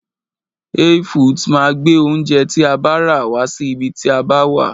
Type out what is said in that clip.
Hey foods máa gbé oúnjẹ tí a bá rà wá sí ibi tí a bá wà.